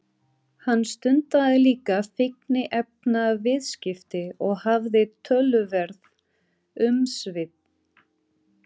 Hann stundaði líka fíkniefnaviðskipti og hafði töluverð umsvif.